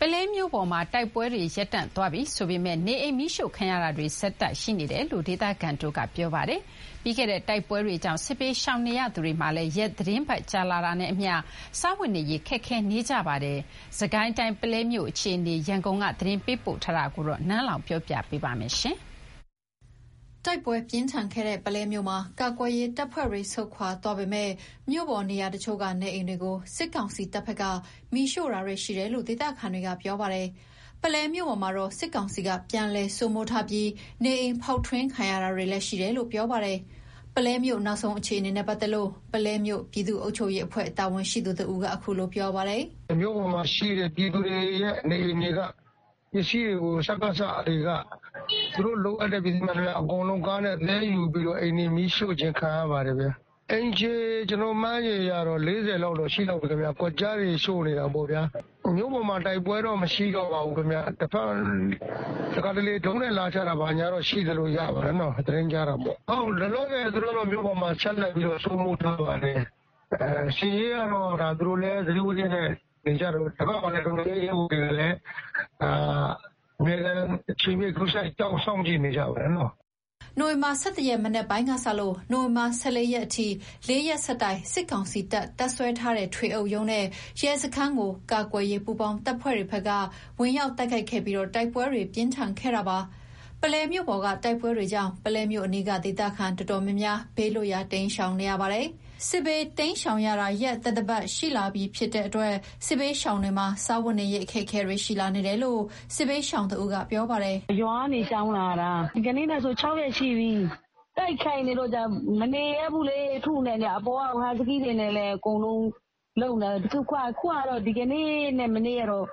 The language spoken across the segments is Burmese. ပုလဲမြို့ပေါ်မှာ တိုက်ပွဲတွေ ရပ်တန့်သွားပြီဆိုပေမယ့်၊ နေအိမ်မီးရှို့ခံရတာတွေ ဆက်ရှိနေတယ်လို့ ဒေသခံတွေက ပြောပါတယ်။ ပြီးခဲ့တဲ့ တိုက်ပွဲတွေကြောင့် စစ်ဘေးရှောင်နေသူတွေမှာလည်း ရက်သီတင်းပတ်ကြာလာတာနဲ့အမျှ စားဝတ်နေရေးခက်ခဲလာကြပါတယ်။ စစ်ကိုင်းတိုင်း ပုလဲမြို့အခြေအနေ ရန်ကုန်က သတင်းပေးပို့ထားတာကို ပြောပြပါမယ်။ တိုက်ပွဲပြင်းထန်ခဲ့တဲ့ ပုလဲမြို့မှာ ကာကွယ်ရေးတပ်ဖွဲ့တွေ ဆုတ်ခွာသွားပေမယ့်၊ မြို့ပေါ် နေရာအချို့က နေအိမ်တွေကို စစ်ကောင်စီ တပ်ဘက်က မီးရှို့တာတွေရှိတယ်လို့ ဒေသခံတွေက ပြောပါတယ်။ ပုလဲမြို့ပေါ်မှာတော့ စစ်ကောင်စီက ပြန်လည်စိုးမိုးထားပြီ နေအိမ်ဖောက်ထွင်းခံရတာတွေလည်း ရှိနေတယ်လို့ ပြောပါတယ်။ ပုလဲမြို့နောက်ဆုံး အခြေအနေနဲ့ ပတ်သက်လို့ ပုလဲမြို့ ပြည်သူ့အုပ်ချုပ်ရေးအဖွဲ့ တာဝန်ရှိသူ တဦးက အခုလို ပြောပါတယ်။ "မြို့ပေါ်မှာရှိတဲ့ နေအိမ်တွေက ပြည်သူတွေရဲ့ ပစ္စည်းတွေကို စကစတွေက သူတို့ လိုအပ်တဲ့ ပစ္စည်းမှန်သမျှ အကုန်လုံးသယ်ယူပြီး အိမ်တွေမီးရှို့ခြင်းခံရပါတယ်။ အိမ်ခြေမှန်းခြေအရ ၄၀ လောက်တော့ ရှိလောက်မယ် ကွက်ကျားတွေရှို့နေတာပေါ့။ မြို့ပေါ်မှာ တိုက်ပွဲတော့ မရှိတော့ပါဘူး။ တခါတလေ ဒရုန်းနဲ့ လာချတာတွေတော့ရှိတယ်။ လောလောဆယ် သူတို့မြို့ပေါ်မှာ ဆက်လက်စိုးမိုးထားပါတယ်။ စစ်ရေးကတော့ သူတို့လည်း သတိဝီရိယနဲ့နေကြတာပေါ့။ ဒီဘက်ကလည်း တော်လှန်ရေးရဲဘော်တွေကလည်း အမြဲအချိန်ပြည့် စောင့်ကြည့်နေကြပါတယ်။" နိုဝင်ဘာ ၁၁ ရက် မနက်ပိုင်းကစလို့ နိုဝင်ဘာ ၁၄ ရက်အထိ ၄ ရက်ဆက်တိုက် စစ်ကောင်စီ တပ် တပ်စွဲထားတဲ့ ထွေအုပ်ရုံးနဲ့ရဲစခန်းကို ကာကွယ်ရေးပူးပေါင်းတပ်ဖွဲ့တွေက ဝင်ရောက်တိုက်ခိုက်ခဲ့ပြီး တိုက်ပွဲတွေ ပြင်းထန်ခဲ့တာပါ။ ပုလဲမြို့ပေါ်က တိုက်ပွဲတွေကြောင့် ပုလဲမြို့အနီးက ဒေသခံတော်တော်များများ ဘေးလွတ်ရာ တိမ်းရှောင်နေရပါတယ်။ စစ်ဘေးတိမ်းရှောင်ရတာ ရက်သတ္တပတ်နီးပါးရှိလာတဲ့အတွက် စစ်ဘေးရှောင်တွေမှာ စားဝတ်နေရေးအခက်အခဲတွေရှိလာနေတယ်လို့ စစ်ဘေးရှာင်တဦးက ပြောပါတယ်။ "ရွာကနေရှောင်လာတာ ဒီကနေ့နဲ့ဆို ၆ ရက်ရှိပြီ။ တိုက်ခိုက်နေတော့ မနေရဲဘူးလေ။ အပေါ်ကနေ ဟတ်စကီးတွေနဲ့လည်း အပေါ်ကနေ လုပ်နေတာ အခုဟာ ဒီကနေ့နဲ့ မနေ့တော့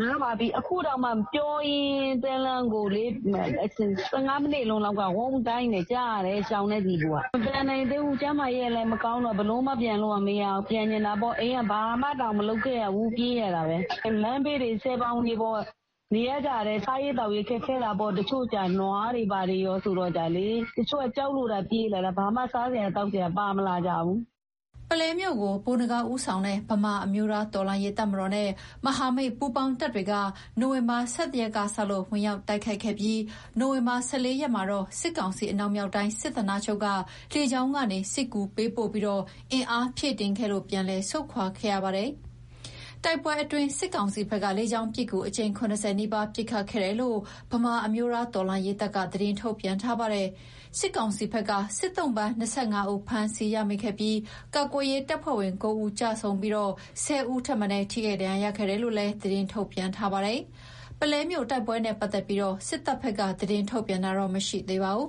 နားပါပြီ။ အခုတောင် ပြောရင်းတန်းလန်းကိုလေ ၁၅ မိနစ်လောက်က ဝုန်းဒိုင်းဆိုပြီး ကြားရတယ်၊ ရှောင်တဲ့သူတွေက မပြန်နိုင်သေးဘူး ကျန်းမာရေးကလည်းမကောင်းတော့ ပြန်လို့ကမရသေးဘူး။ ပြန်ချင်တာပေါ့။ အိမ်က ဘာမှတောင် မလုပ်ခဲ့ရဘူး။ပြေးရတာပဲ။ လမ်းဘေးတွေ ဆည်ဘောင်တွေပေါ်နေကြရတယ်။ စားရေးသောက်ရေးတွေခက်ခဲတာပေါ့။ တချို့က နွားတွေဘာတွေကောဆိုတော့ တချို့က ကြောက်လို့သာ ပြေးလာကြတာ ဘာမှ စားစရာ သောက်စရာ ပါမလာကြဘူး။" ပုလဲမြို့ကို ဗိုလ်နဂါးဦးဆောင်တဲ့ ဗမာ အမျိုးသားတော်လှန်ရေး တပ်မတော်နဲ့ မဟာမိတ်ပူးပေါင်းတပ်တွေက နိုဝင်ဘာ ၁၁ ရက်ကစလို့ ဝင်ရောက်တိုက်ခိုက်ခဲ့ပြီး၊ နိုဝင်ဘာ ၁၄ ရက်မှာတော့ စစ်ကောင်စီ အနောက်မြောက်တိုင်း စစ်ဌာနချုပ်က လေကြောင်းကနေ စစ်ကူပေးပို့ပြီးအင်အားဖြည့်တင်းခဲ့လို့ ပြန်လည် ဆုတ်ခွါခဲ့ရပါတယ်။ တိုက်ပွဲအတွင်း စစ်ကောင်စီဘက်က လေကြောင်းပစ်ကူ အကြိမ် ၇၀ နီးပါး ပစ်ခတ်ခဲ့တယ်လို့ ဗမာအမျိုးသားတော်လှန်ရေးတပ်က သတင်းထုတ်ပြန်ထားပါတယ်။ စစ်ကောင်စီဘက်က စစ်သုံ့ပန် ၂၅ ဦး ဖမ်းဆီးရမိခဲ့သလို၊ ကာကွယ်ရေးတပ်ဖွဲ့ဝင် ၉ ဦး ကျဆုံးပြီး ၁၀ ဦး ထိခိုက်ဒဏ်ရာ ရခဲ့တယ်လို့လည်း သတင်းထုတ်ပြန်ထားပါတယ်။ ပုလဲမြို့ တိုက်ပွဲနဲ့ ပတ်သက်ပြီး စစ်တပ်ဘက်က သတင်းထုတ်ပြန်တာတော့မရှိသေးပါဘူး